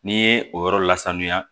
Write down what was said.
N'i ye o yɔrɔ la sanuya